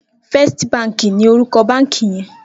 Fèstí bànkí ni órúkò bànkí yèn